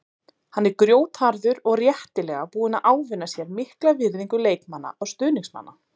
Hann er grjótharður og réttilega búinn að ávinna sér mikla virðingu leikmanna og stuðningsmanna.